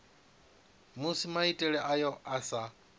musi maitele ayo a sa